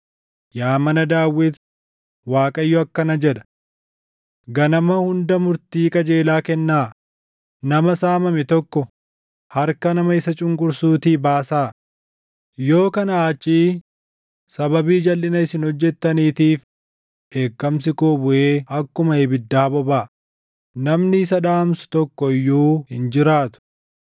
Yaa mana Daawit, Waaqayyo akkana jedha: “ ‘Ganama hunda murtii qajeelaa kennaa; nama saamame tokko harka nama isa cunqursuutii baasaa; yoo kanaa achii sababii jalʼina isin hojjettaniitiif dheekkamsi koo buʼee akkuma ibiddaa bobaʼa; namni isa dhaamsu tokko iyyuu hin jiraatu.